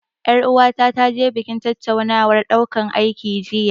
Ƴar uwata ta je banki tattaunawar ɗaukan aiki jiya.